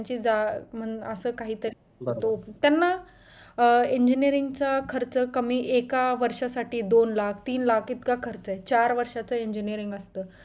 ते जा असं काहीतरी तो त्यांना engineering चा खर्च कमी एका वर्षासाठी दोन लाख तीन लाख इतका खर्च आहे चार वर्षाचा engineering असतं